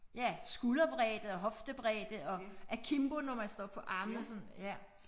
Ja skulderbredde og hoftebredde og akimbo når man står på armene sådan ja